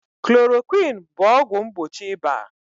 Chloroquine bụ ọgwụ mgbochi ịba.